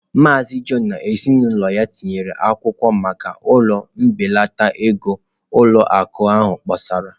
Maazị John na ezinụlọ ya tinyere akwụkwọ maka ụlọ mbelata ego ụlọ akụ ahụ kpọsara.